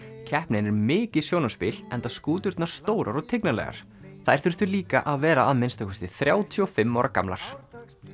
keppnin er mikið sjónarspil enda skúturnar stórar og þær þurftu líka að vera að minnsta kosti þrjátíu og fimm ára gamlar